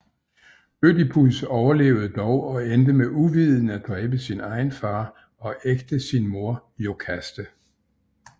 Ødipus overlevede dog og endte med uvidende at dræbe sin egen far og ægte sin mor Iokaste